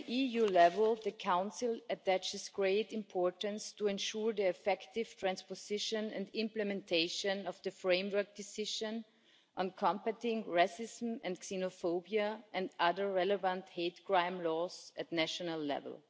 At EU level, the Council attaches great importance to ensuring the effective transposition and implementation of the Framework Decision on Combating Racism and Xenophobia and other relevant hate crime laws at national level.